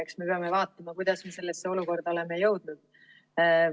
Eks me peame vaatama, kuidas me sellesse olukorda oleme jõudnud.